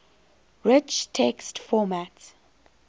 rich text format